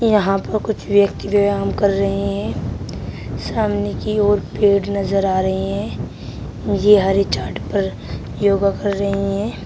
यहां पर कुछ व्यक्ति व्यायाम कर रहे हैं सामने कि ओर पेड़ नजर आ रहे हैं ये हरे चार्ट पर योगा कर रहे हैं।